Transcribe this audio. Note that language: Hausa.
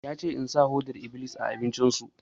Ya ce in sa foɗar-iblis a abincin su!